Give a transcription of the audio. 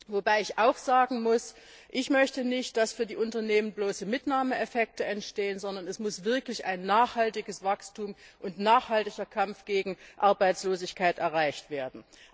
Wobei ich auch sagen muss Ich möchte nicht, dass für die Unternehmen bloße Mitnahmeeffekte entstehen, sondern es muss wirklich ein nachhaltiges Wachstum und ein nachhaltiger Kampf gegen Arbeitslosigkeit erreicht werden.